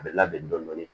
A bɛ labɛn dɔɔnin dɔɔnin